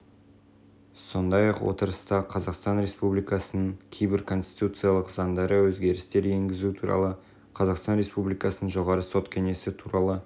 сондай-ақ отырыста қазақстан республикасының кейбір конституциялық заңдарына өзгерістер енгізу туралы қазақстан республикасының жоғары сот кеңесі туралы